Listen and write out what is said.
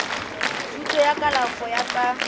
thuto ya kalafo ya tsa